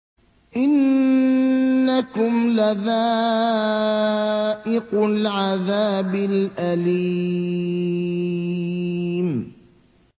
إِنَّكُمْ لَذَائِقُو الْعَذَابِ الْأَلِيمِ